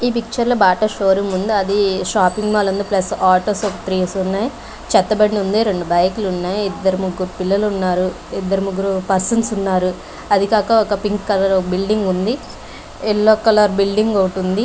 ఈ పిక్చర్ లో Bata show room ఉంది అది షాపింగ్ మాల్ ఉంది ప్లేస్ ఆటోస్ త్రీ స్ ఉన్నాయి చెత్త బండి ఉంది బైక్ లు ఉన్నాయి ఇద్దరు ముగ్గురు పిల్లలు ఉన్నారు ఇద్దరు ముగ్గురు పర్సన్స్ ఉన్నారు అది కాక ఒక పింక్ కలర్ బిల్డింగ్ ఉంది ఎల్లో కలర్ బిల్డింగ్ ఒకటి ఉంది.